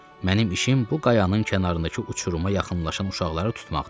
Mənim işim bu qayanın kənarındakı uçuruma yaxınlaşan uşaqları tutmaqdır.